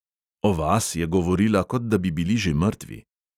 O vas je govorila, kot da bi bili že mrtvi.